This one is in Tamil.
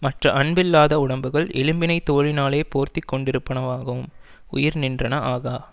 மற்ற அன்பில்லாத உடம்புகள் எலும்பினைத் தோலினாலே போர்த்தி கொண்டிருப்பனவாகும் உயிர் நின்றன ஆகா